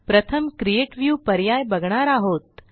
प्रथम create view पर्याय बघणार आहोत